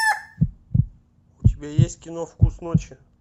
у тебя есть кино вкус ночи